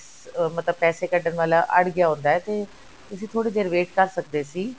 ਅਹ ਮਤਲਬ ਪੈਸੇ ਕੱਢਨ ਵਾਲਾ ਅੜ ਗਿਆ ਹੁੰਦਾ ਹੈ ਤੇ ਤੁਸੀ ਥੋੜੀ ਦੇਰ wait ਕਰ ਸਕਦੇ ਸੀ